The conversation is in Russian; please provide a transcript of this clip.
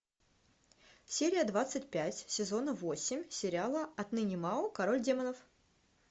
серия двадцать пять сезона восемь сериала отныне мао король демонов